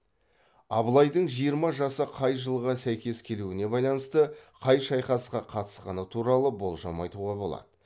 абылайдың жиырма жасы қай жылға сәйкес келуіне байланысты қай шайқасқа қатысқаны туралы болжам айтуға болады